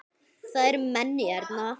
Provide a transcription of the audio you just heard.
Það eru menn hérna!